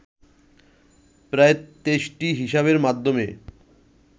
প্রায় ২৩টি হিসাবের মাধ্যমে